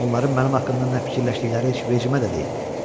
Onların mənim haqqımda nə fikirləşdikləri heç vecimə də deyil.